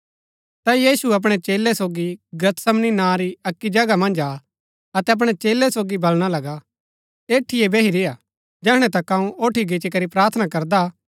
ता यीशु अपणै चेलै सोगी गतसमनी नां री अक्की जगह मन्ज आ अतै अपणै चेलै सोगी बलणा लगा ऐठीये बैही रेय्आ जैहणै तक अऊँ ओठी गिच्ची करी प्रार्थना करदा